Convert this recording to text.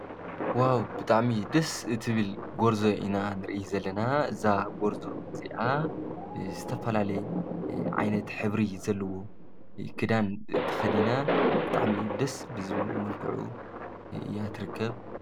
ዋው ብጣዕሚ ደስ እትብል ጎርዞ ኢና ንሪኢ ዘለና፡፡ እዛ ጎርዞ እዚኣ ዝተፈላለየ ዓይነት ሕብሪ ዘለዎ ክዳን ተኸዲና ብጣዕሚ ደስ ብዝብል መልክዑ እያ ትርከብ ።